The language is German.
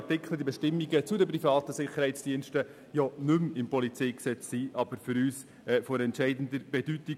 Die Artikel und Bestimmungen zu den privaten Sicherheitsdiensten sind nicht mehr im PolG, aber sie sind für uns von entscheidender Bedeutung.